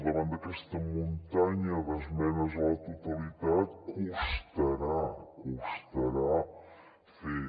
davant d’aquesta muntanya d’esmenes a la totalitat costarà costarà fer